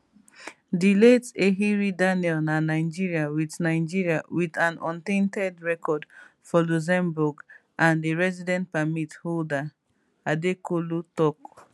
di late eheri daniel na nigerian wit nigerian wit an untainted record for luxembourg and a residence permit holder adekolu tok